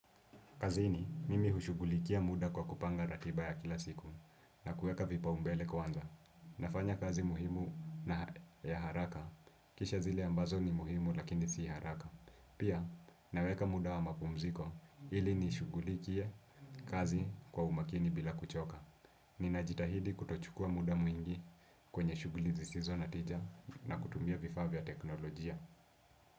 Kazini, mimi hushughulikia muda kwa kupanga ratiba ya kila siku na kuweka vipaumbele kwanza. Nafanya kazi muhimu na ya haraka, kisha zile ambazo ni muhimu lakini si haraka. Pia, naweka muda wa mapumziko ili nishughulikie kazi kwa umakini bila kuchoka. Ninajitahidi kutochukua muda mwingi kwenye shughuli zisizo na tija na kutumia vifavya tekinolojia.